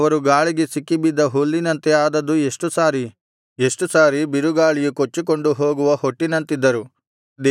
ಅವರು ಗಾಳಿಗೆ ಸಿಕ್ಕಿಬಿದ್ದ ಹುಲ್ಲಿನಂತೆ ಆದದ್ದು ಎಷ್ಟು ಸಾರಿ ಎಷ್ಟು ಸಾರಿ ಬಿರುಗಾಳಿಯು ಕೊಚ್ಚಿಕೊಂಡು ಹೋಗುವ ಹೊಟ್ಟಿನಂತಿದ್ದರು